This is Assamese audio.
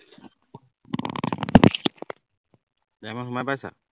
diamond সোমাই পাইছা